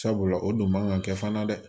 Sabula o don man ka kɛ fana dɛ